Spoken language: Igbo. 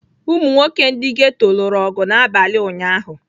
Ụmụ nwoke ndị ghetto lụrụ ọgụ n’abalị ụnyahụ.